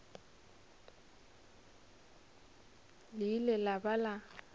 le ile la ba la